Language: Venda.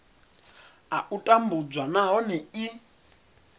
a u tambudzwa nahone i